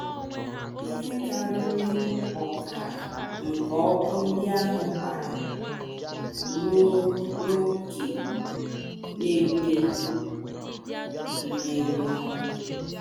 Ihe karịrị ọkara nke ọkụ ndị ahụ gbara ruo n’ókè na - ekweghị mmenyụ.